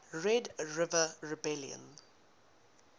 red river rebellion